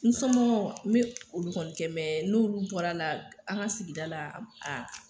N somɔgɔw n me olu kɔni kɛ mɛ n'olu bɔra la an ga sigida la a